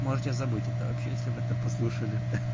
можете забыть это вообще если это послушали